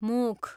मुख